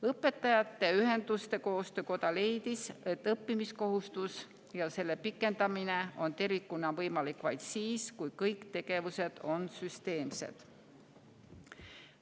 Õpetajate Ühenduste Koostöökoda leidis, et õppimiskohustus ja selle pikendamine on tervikuna võimalik vaid siis, kui kõik tegevused on süsteemsed.